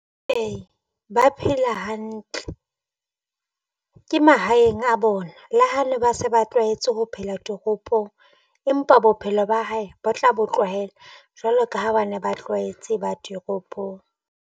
Ee ba phela hantle ke mahaeng a bona. Le ha ne ba se ba tlwahetse ho phela toropong empa bophelo ba hae ba tla bo tlwahela jwalo ka ha ba ne ba tlwahetse ba ditoropong.